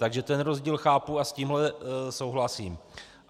Takže ten rozdíl chápu a s tímhle souhlasím.